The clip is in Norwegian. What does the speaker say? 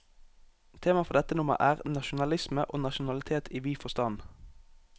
Temaet for dette nummer er, nasjonalisme og nasjonalitet i vid forstand.